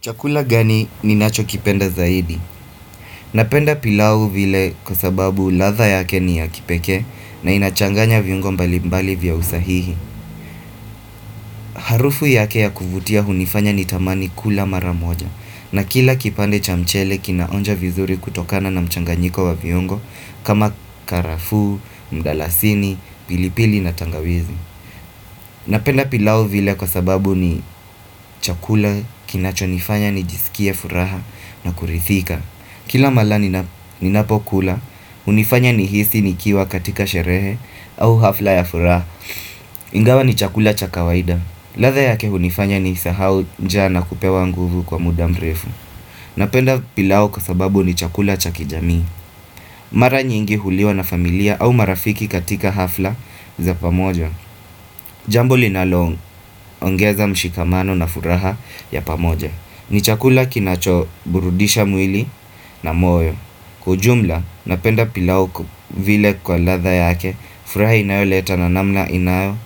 Chakula gani ni nacho kipenda zaidi? Napenda pilau vile kwa sababu ladha yake ni ya kipeke na inachanganya viungo mbali mbali vya usahihi. Harufu yake ya kuvutia hunifanya ni tamani kula maramoja na kila kipande chamchele kinaonja vizuri kutokana na mchanganyiko wa viungo kama karafu, mdalasini, pilipili na tangawizi. Napenda pilau vile kwa sababu ni chakula kinacho nifanya ni jisikie furaha na kurithika Kila mala ninapokula, unifanya ni hisi nikiwa katika sherehe au hafla ya furaha. Ingawa ni chakula chakawaida. Ladha yake unifanya ni sahau njaa na kupewa nguvu kwa muda mrefu. Napenda pilau kwa sababu ni chakula chakijami. Mara nyingi huliwa na familia au marafiki katika hafla za pamoja. Jambo linalong, ongeza mshikamano na furaha ya pamoja. Ni chakula kinacho burudisha mwili na moyo. Kujumla, napenda pilauko vile kwa ladha yake, furaha inayo leta na namna inayo,